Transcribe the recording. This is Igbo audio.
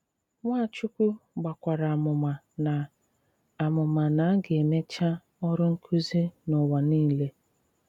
Nwàchùkwù gbàkwàrà àmùmà na àmùmà na a ga-emechà òrụ nkụ̀zì n'ụwa niile.